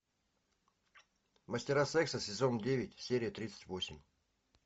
мастера секса сезон девять серия тридцать восемь